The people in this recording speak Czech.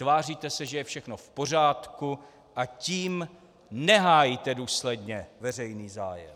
Tváříte se, že je všechno v pořádku, a tím nehájíte důsledně veřejný zájem.